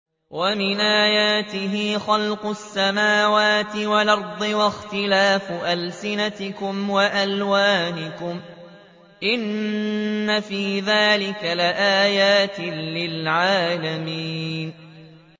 وَمِنْ آيَاتِهِ خَلْقُ السَّمَاوَاتِ وَالْأَرْضِ وَاخْتِلَافُ أَلْسِنَتِكُمْ وَأَلْوَانِكُمْ ۚ إِنَّ فِي ذَٰلِكَ لَآيَاتٍ لِّلْعَالِمِينَ